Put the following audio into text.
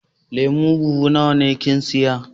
Lemu buhu nawa ne kin siya?